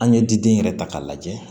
An ye diden yɛrɛ ta k'a lajɛ